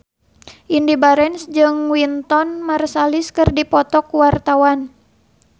Indy Barens jeung Wynton Marsalis keur dipoto ku wartawan